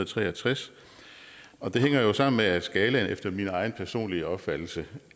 tre og tres og det hænger jo sammen med at skalaen efter min egen personlige opfattelse